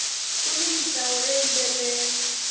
kuni mintlawa yo yimbelela